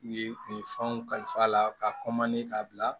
U ye u ye fɛnw kalifa a la ka k'a bila